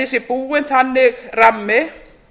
sé búinn þannig rammi